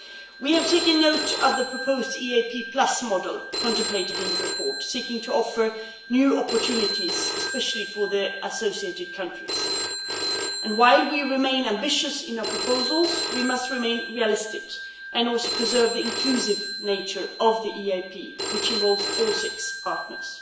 We have taken note of the proposed EaP' model contemplated in the report, seeking to offer new opportunities especially for the associated countries and, while we remain ambitious in our proposals, we must also remain realistic and preserve the inclusive nature of the EaP which involves all six partners.